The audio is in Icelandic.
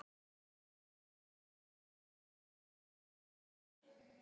Hann biður hana að hitta sig.